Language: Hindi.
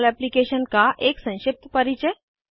जमोल एप्लीकेशन का एक संक्षिप्त परिचय